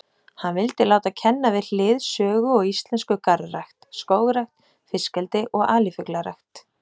Hann vildi láta kenna við hlið sögu og íslensku garðrækt, skógrækt, fiskeldi og alifuglarækt.